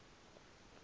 nam indim lo